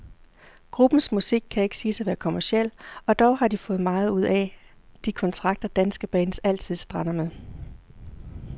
Gruppens musik kan ikke siges at være kommerciel, og dog har de fået meget ud af de kontrakter, danske bands altid strander med.